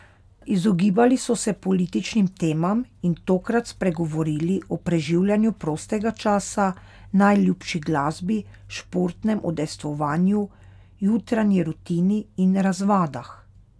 Izogibali so se političnim temam in tokrat spregovorili o preživljanju prostega časa, najljubši glasbi, športnem udejstvovanju, jutranji rutini in razvadah.